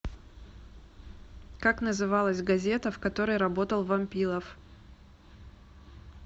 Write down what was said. как называлась газета в которой работал вампилов